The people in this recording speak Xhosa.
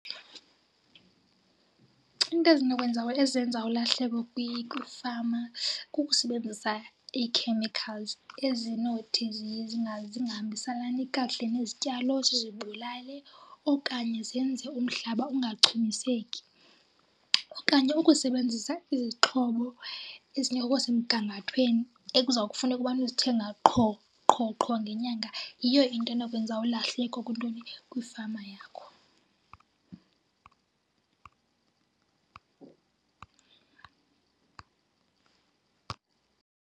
Iinto ezinokwenza ezenza ulahlekwe kwifama kukusebenzisa i-chemicals ezinothi zingahambiselani kakuhle nezityalo zizibulale okanye zenze umhlaba ungachumiseki. Okanye ukusebenzisa izixhobo ezinye okwasemgangathweni ekuzawufuneka ubana uzithenga qho, qho, qho ngenyanga yiyo into enokwenza ulahleko kwintoni, kwifama yakho.